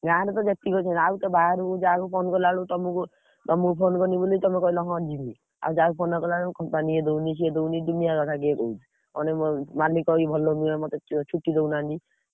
ଗାଁର ତ ଯେତିକି ଅଛନ୍ତି ଆଉ ତ ବାହାରକୁ ଯାହାକୁ phone କଲାବେଳକୁ ତମକୁ, ତମୁକୁ phone କଲି ବୋଲି ତମେ କହିଲ ହଁ ଯିବି। ଆଉ ଯାହାକୁ phone କଲା ବେଳକୁ company ଇଏ ଦଉନି ସିଏ ଦଉନି ଦୁନିଆ କଥା କିଏ କହୁଛି। ଅଧେ ମାଲିକ ଇଏ ଭଲ ଲାଗୁନି ବା ମତେ ଛୁଟି ଦଉନାହନ୍ତି।